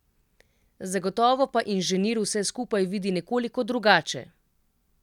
Zagotovo pa inženir vse skupaj vidi nekoliko drugače!